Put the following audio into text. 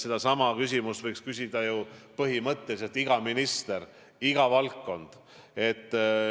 Sedasama küsimust võiks ju küsida põhimõtteliselt iga minister, iga valdkond.